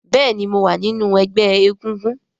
béèni mọ wá nínú egbé egúngún.